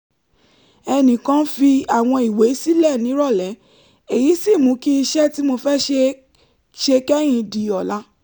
ẹnì kan fi àwọn ìwé sílẹ̀ nírọ̀lẹ́ èyí sì mú kí iṣẹ́ tí mo fẹ́ ṣe kẹ́yìn di ọ̀la